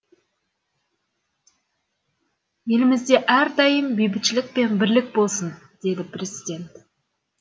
елімізде әрдайым бейбітшілік пен бірлік болсын деді президент